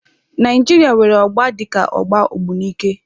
Naijiria nwere ọgba dika ọgba Ogbunike.